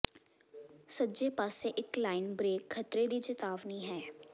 ਸੱਜੇ ਪਾਸੇ ਇੱਕ ਲਾਈਨ ਬ੍ਰੇਕ ਖ਼ਤਰੇ ਦੀ ਚੇਤਾਵਨੀ ਹੈ